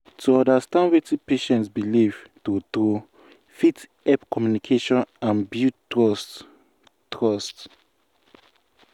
to understand wetin patient believe true true fit help communication and build trust. trust.